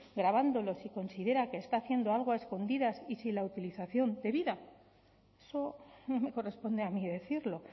grabándolo si considera que está haciendo algo a escondidas y sin la utilización debida eso no me corresponde a mí decirlo